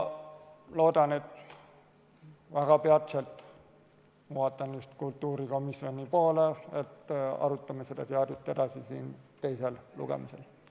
Loodan, et peatselt – vaatan just kultuurikomisjoni poole – arutame seda seadust edasi siin teisel lugemisel.